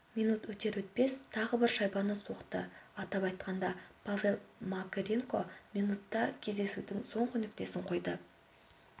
минут өтер-өтпес тағы бір шайбаны соқты атап айтқанда павел макаренко минутта кездесудің соңғы нүктесін қойды